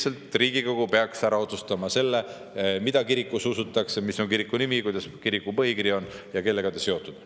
Et Riigikogu peaks ära otsustama selle, mida kirikus usutakse, mis on kiriku nimi, milline kiriku põhikiri on ja kellega ta seotud on.